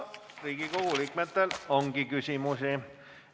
Riigikogu liikmetel ongi küsimusi.